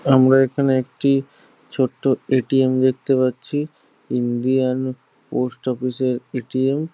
আমরা এখানে একটি ছোট্ট এ.টি.এম দেখেত পাচ্ছি ইন্ডিয়ান পোস্ট অফিস - এর এ.টি.এম ।